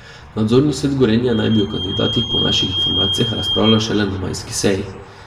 Nadzorni svet Gorenja naj bi o kandidatih po naših informacijah razpravljal šele na majski seji.